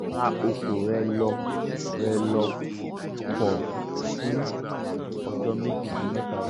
máa bá ọkọ rẹ lò rẹ lò pọ̀ fún ọjọ́ méjì sí mẹ́ta tó ń bọ̀